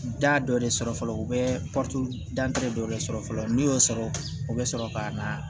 Da dɔ de sɔrɔ fɔlɔ u bɛ dɔ de sɔrɔ fɔlɔ n'i y'o sɔrɔ o bɛ sɔrɔ ka na